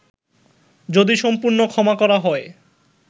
যদি সম্পূর্ণ ক্ষমা করা হয়